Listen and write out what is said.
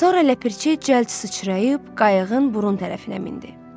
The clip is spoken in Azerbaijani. Sonra ləpirçi cəld sıçrayıb qayıqın burun tərəfinə mindi.